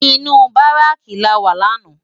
Inú báráki láwá làná